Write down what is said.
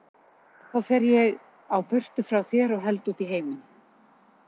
Þá fer ég á burtu frá þér og held út í heiminn.